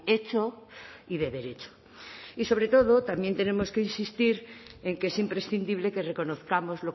hecho y de derecho y sobre todo también tenemos que insistir en que es imprescindible que reconozcamos